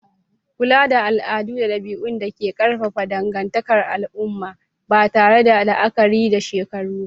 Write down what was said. kula da al'adu da dabi'un da ke ƙarfafa dangantakar al'umma, ba tare da la'akari da shekaru ba.